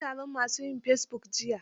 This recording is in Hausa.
An yi taron ma su yin fesibuk jiya.